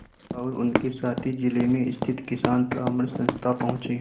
और उनके साथी जिले में स्थित किसान परामर्श संस्था पहुँचे